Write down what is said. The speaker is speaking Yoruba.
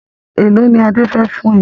Èlò ni Adé fẹ fún ẹ?